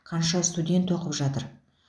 қанша студент оқып жатыр